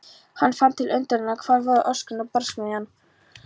Hann fann til undrunar- hvar voru öskrin og barsmíðarnar?